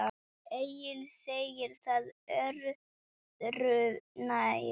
Egill segir það öðru nær.